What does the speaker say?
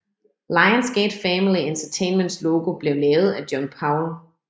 Lions Gate Family Entertainments logo blev lavet af John Powell